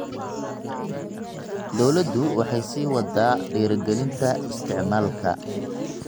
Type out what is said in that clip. Dawladdu waxay sii waddaa dhiirigelinta isticmaalka